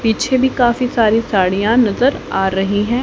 पीछे भी काफी सारी साड़ियां नजर आ रही हैं।